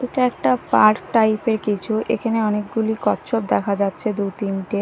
এটা একটা park type -এর কিছু এখানে অনেকগুলি কচ্ছপ দেখা যাচ্ছে দুতিনটে।